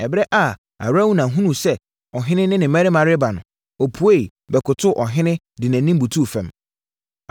Ɛberɛ a Arauna hunuu sɛ ɔhene ne ne mmarima reba no, ɔpueeɛ, bɛkotoo ɔhene, de nʼanim butuu fam.